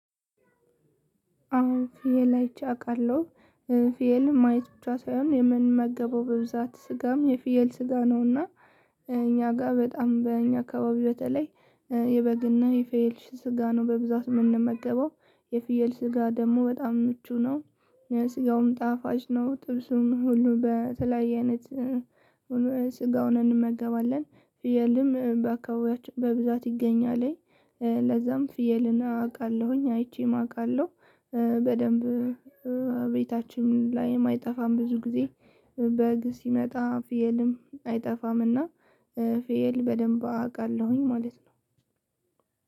አዎ ፍየል አይቼ አውቃለሁ እ ፍየል ማየት ብቻ ሳይሆን የምንመገበው በብዛት ስጋም የፍየል ስጋ ነውና። እ እኛ ጋር በጣም በእኛ አካባቢ በተለይ እ የበግና የፍየል የፍየል ስጋ ነው በብዛት የምንመገበው የፍየል ስጋ ደግሞ በጣም ምቹ ነው። ስጋውም ጣፋጭ ነው ጥርሱም ሁሉ በተለያየ አይነት እ ሁሉ ስጋውን እንመገባለን። ፍየልም በአካባቢያችን በብዛት ይገኛል እ ለዛም ፍየልን አውቃለሁኝ አይቼም አውቃለሁ። በደንብ እ እ ቤታችን ላይም አይጠፋም ብዙ ጊዜ። በግ ሲመጣ ፍየልም አይጠፋምና። ፍየል በደንብ አውቃለሁኝ ማለት ነው።